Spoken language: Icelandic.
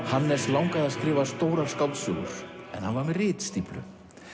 Hannes langaði að skrifa stórar skáldsögur en hann var með ritstíflu